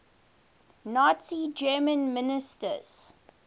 nazi germany ministers